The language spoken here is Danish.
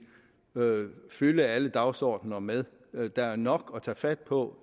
fylde alle dagsordener med der er nok at tage fat på